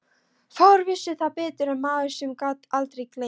Fáir vissu það betur en maður sem gat aldrei gleymt.